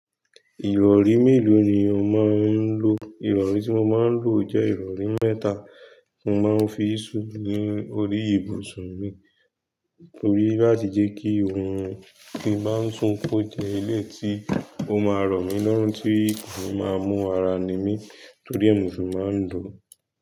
Ìrọ̀rí mélòó ni o máa ń lò? Ìrọ̀rí tí mo máa ń lò jẹ́ ìrọ̀rí mẹ́ta, mo máa ń fi sún orí ibùsùn mi torí láti jẹ́ kí orun tí n bá ń sún kó jẹ́ ilẹ̀ tí ó máa rọ̀ mí lọ́rùn tí mo máa mú ara ní mi torí ẹmu ṣùnmọ́ mi.